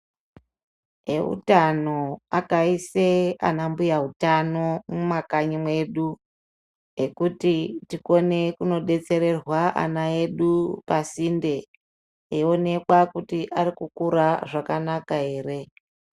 Vehutano akaise ana mbuya utano mumakanyi medu ekuti tikone kundodetsererwa ana edu pasinde eionekwa kuti ari kukura zvakanaka ere.